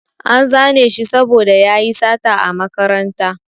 An zane shi saboda yayi sata a makaranta